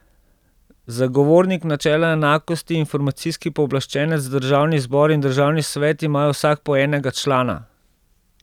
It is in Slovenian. Zagovornik načela enakosti, informacijski pooblaščenec, državni zbor in državni svet imajo vsak po enega člana.